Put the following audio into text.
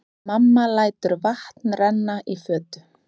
Mamma lætur vatn renna í fötu.